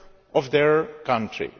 of their country.